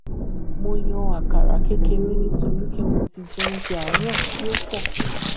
mo yan àkàrà kékeré nítorí pé mo ti jẹ oúnjẹ àárò tí ó pọ